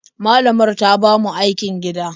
Malamar ta ba mu aikin gida.